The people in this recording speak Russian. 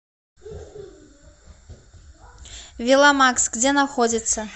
веломакс где находится